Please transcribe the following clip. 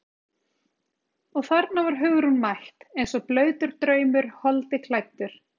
Og þarna var Hugrún mætt eins og blautur draumur holdi klæddur.